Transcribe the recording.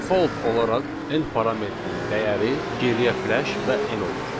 Default olaraq N parametrinin dəyəri geriyə f-lesh və N olur.